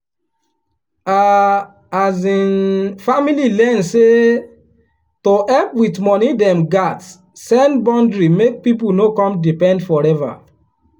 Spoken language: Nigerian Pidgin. her um family learn say to help with money dem gats set boundary make people no come depend forever.